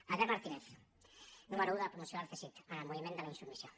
albert martínez número un de la promoció del cesid en el moviment de la insubmissió